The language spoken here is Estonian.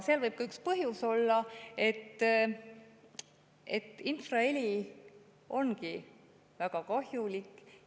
Üks põhjus võib olla see, et infraheli ongi väga kahjulik.